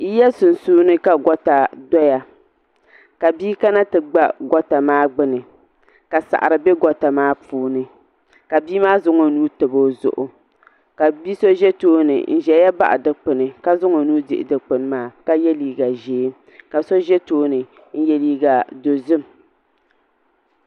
Yiya ka goota doya ka bia kana ti gba gota maa gbini ka saɣari be goota maa puuni ka bia maa zaŋ o nuu tabi o zuɣu ka bia so za tooni n zaya baɣa dikpini ka zaŋ o nuu dihi dikpini maa ka ye liiga ʒee ka so ʒɛ tooni n ye liiga dozim.